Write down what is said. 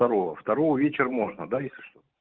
второго второго вечер можно да если что